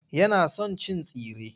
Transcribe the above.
Yana son cin tsire.